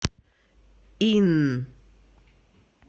инн